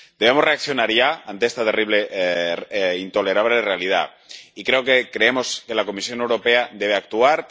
Debemos reaccionar ya ante esta terrible e intolerable realidad, y creemos que la Comisión Europea debe actuar.